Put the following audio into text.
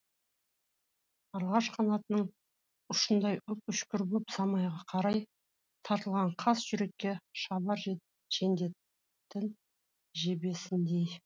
қарлығаш қанатының ұшындай үп үшкір боп самайға қарай тартылған қас жүрекке шабар жендеттің жебесіндей